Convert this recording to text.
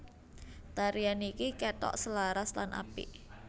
Tarian niki ketok selaras lan apik